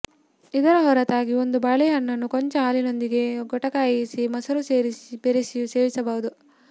ಇದರ ಹೊರತಾಗಿ ಒಂದು ಬಾಳೆಹಣ್ಣನ್ನು ಕೊಂಚ ಹಾಲಿನೊಂದಿಗೆ ಗೊಟಾಯಿಸಿ ಮೊಸರು ಬೆರೆಸಿಯೂ ಸೇವಿಸಬಹುದು